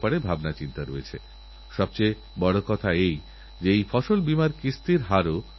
গীতাতে ভগবান শ্রীকৃষ্ণ বলছেন অশ্বত্থ সর্ববৃক্ষানাং অর্থাৎ সকল বৃক্ষের মধ্যে আমি অশ্বত্থ